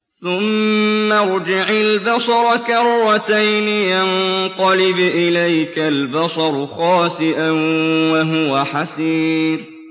ثُمَّ ارْجِعِ الْبَصَرَ كَرَّتَيْنِ يَنقَلِبْ إِلَيْكَ الْبَصَرُ خَاسِئًا وَهُوَ حَسِيرٌ